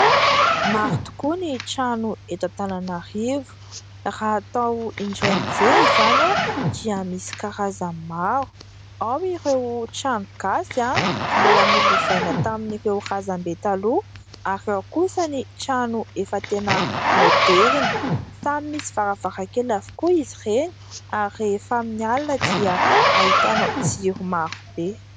Maro tokoa ny trano eto Antananarivo. Raha atao indray mijery izany dia misy karazany maro. Ao ireo trano gasy mbola nolovaina tamin'ireo razam-be taloha ary ao kosa ny trano efa tena maoderina. Samy misy varavarankely avokoa izy ireny ary rehefa amin'ny alina dia ahitanao jiro marobe.